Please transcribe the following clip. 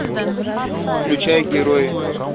включай герои